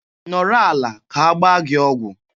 Nọrọ ala ka agbaa gị ọgwụ!